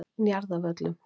Njarðarvöllum